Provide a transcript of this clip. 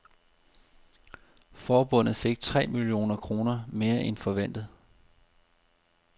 Forbundet fik tre millioner kroner mere end forventet.